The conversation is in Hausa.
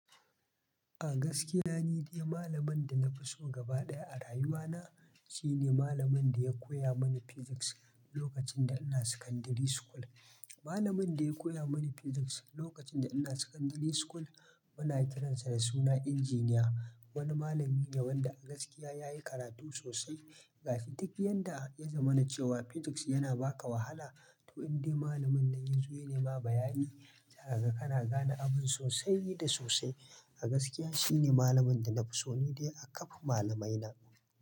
A gaskiya, ni dai malamin da na fi so gaba ɗaya a rayuwana shine malamin da ya koya mani Physics lokacin da ina secondary school. Malamin da ya koya mani Physics lokacin da ina secondary school muna kiransa da suna Engineer. Wani malami ne wanda a gaskiya ya yi karatu sosai. A duk yanda ya zamana cewa Physics yana baka wahala to indai malamin nan yazo yanai ma bayani zaka ga kana gane abun sosai da sosai. A gaskiya shine malamin da na fi so ni dai a kaf malamaina.